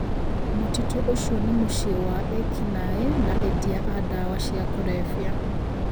Mũtitũ ũcio nĩ mũciĩ wa ekinai na endia a ndawa cia kurebya